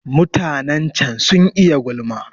Mutanen can sun iya gulma.